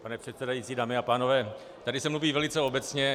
Pane předsedající, dámy a pánové, tady se mluví velice obecně.